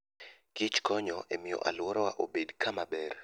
Kich konyo e miyo alworawa obed kama ber.